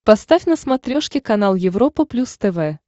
поставь на смотрешке канал европа плюс тв